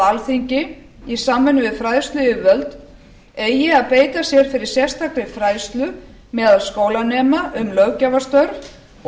alþingi í samvinnu við fræðsluyfirvöld eigi að beita sér fyrir sérstakri fræðslu meðal skólanema um löggjafarstörf og